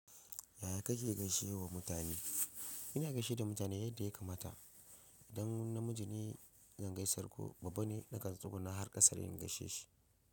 Yaya ka ke gaishewa mutane? Ina gaishe da mutane yadda ya kamata. Idan namiji ne zan gaisar ko babba ne na kan tsuguna har ƙasa ne in gaishe shi.